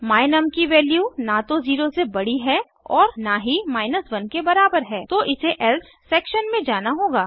my num की value न तो 0 से बड़ी है और न ही 1 के बराबर है तो इसे एल्से सेक्शन में जाना होगा